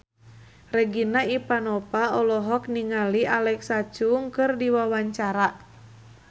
Regina Ivanova olohok ningali Alexa Chung keur diwawancara